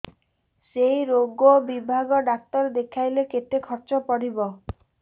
ସେଇ ରୋଗ ବିଭାଗ ଡ଼ାକ୍ତର ଦେଖେଇଲେ କେତେ ଖର୍ଚ୍ଚ ପଡିବ